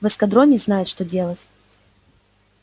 в эскадроне знают что делают